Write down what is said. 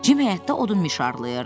Cim həyətdə odun mişarlayırdı.